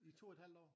I to et halvt år?